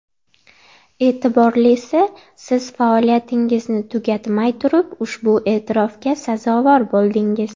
E’tiborlisi, siz faoliyatingizni tugatmay turib ushbu e’tirofga sazovor bo‘ldingiz.